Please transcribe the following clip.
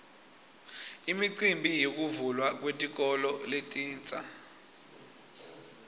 imicimbi yekuvulwa kwetikolo letintsa